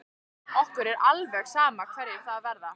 Okkur er alveg sama hverjir það verða.